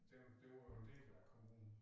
Den det var jo en del af kommunen